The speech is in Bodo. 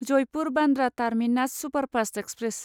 Jaipur Bandra terminus superfast express